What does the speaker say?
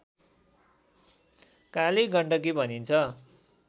काली गण्डकी भनिन्छ